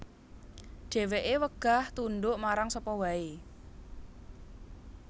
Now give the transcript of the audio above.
Dheweke wegah tunduk marang sapa wae